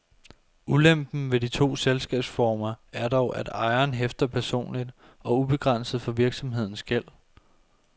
Ulempen ved de to selskabsformer er dog, at ejeren hæfter personligt og ubegrænset for virksomhedens gæld.